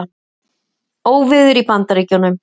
Óveður í Bandaríkjunum